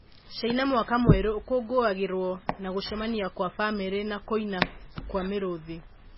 Caina mwaka mwerũ ũkũngũiragwo na gũcemania kwa bamĩrĩ na kũina kwa mĩrũthi.